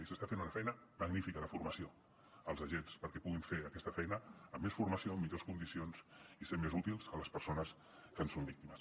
i s’està fent una feina magnífica de formació als agents perquè puguin fer aquesta feina amb més formació en millors condicions i ser més útils a les persones que en són víctimes